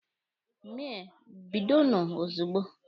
Mee! bidonụ ozugbo!